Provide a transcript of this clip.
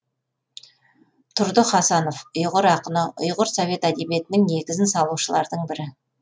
тұрды хасанов ұйғыр ақыны ұйғыр совет әдебиетінің негізін салушылардың бірі